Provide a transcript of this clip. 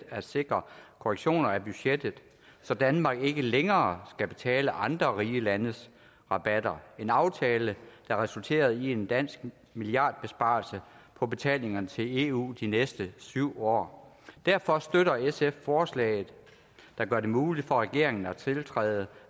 at sikre korrektioner af budgettet så danmark ikke længere skal betale andre rige landes rabatter det en aftale som resulterede i en dansk milliardbesparelse på betalingerne til eu de næste syv år derfor støtter sf forslaget der gør det muligt for regeringen at tiltræde